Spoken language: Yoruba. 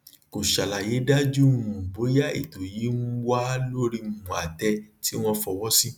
kò ṣàlàyé dájú um bóyá ètò yìí um wà lórí um àtẹ tí wọn fọwọ sí